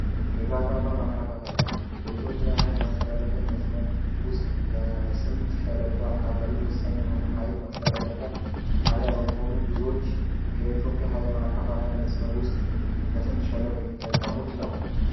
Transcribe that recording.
አከፋፈያ መስመር በኢትዮጵያ ውስጥ የልማት አከፋፈያ መስመር በስምጥ ሸለቆ ወሳኝ የሆነ ኃይል ማስተላለፊያ ጣቢያ በመሆኑ ሃገሮች የኢትዮጵያ ሃይል ማከፋፈያ መስመር ውስጥ በስምጥ ሸለቆ የሚጠቀሙት ነው።